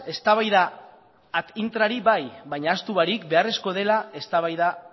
eztabaida ad intra bai baina ahaztu barik beharrezkoa dela eztabaida ad